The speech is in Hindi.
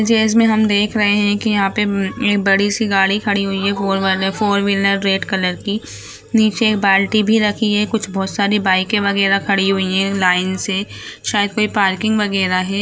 में हम देख रहें हैं की यहाँ पे उम बड़ी सी गाड़ी खड़ी हुई है four wheeler four wheeler red colour की निचे बाल्टी भी रखी है कुछ बहुत सारी बाइकें वगैरा खड़ी हुई है लाइन से शायद कोई पार्किंग वगैरा है।